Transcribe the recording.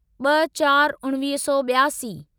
ॿ चार उणिवीह सौ ॿियासी